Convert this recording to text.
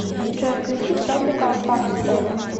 джой включи тропикал фак сторм